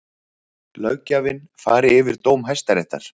Löggjafinn fari yfir dóm Hæstaréttar